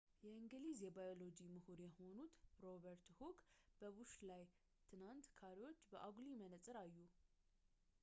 የእንግሊዝ የባዮሎጂ ምሁር የሆኑት ሮበርት ሁክ በቡሽ ላይ ትናንሽ ካሬዎችን በአጉሊ መነፅር አዩ